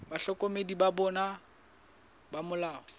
bahlokomedi ba bona ba molao